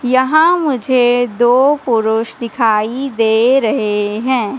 यहां मुझे दो पुरुष दिखाई दे रहे हैं।